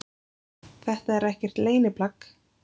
Þetta er ekkert leyniplagg